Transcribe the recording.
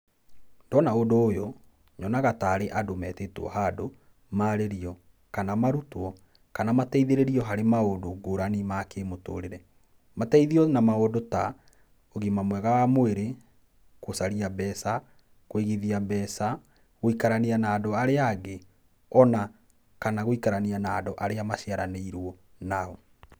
Ndona ũndũ ũyũ nyonaga tarĩ andũ metĩtwo handũ marĩrio, kana marũtwo, kana mateithĩrĩrio hanrĩ maũndũ ngũrani ma kĩmũtũrĩre. Matheithio na maũndũ ta ũgima mwega wa mwĩrĩ, gũcaria mbeca, kũigithia mbeca, gũikarania na andũ arĩa angĩ ona kana gũikarania na andũ arĩa maciaranĩirwo nao.